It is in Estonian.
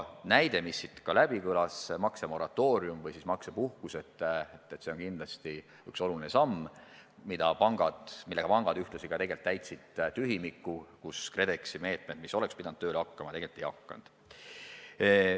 Maksemoratooriumi ehk siis maksepuhkuse näide, mis siin kõlas, on kindlasti üks oluline samm, millega pangad täitsid tühimiku, mis on jäänud sellest, et KredExi meetmed, mis oleksid pidanud tööle hakkama, tegelikult ei ole hakanud.